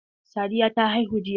Sadiya ta haihu jiya.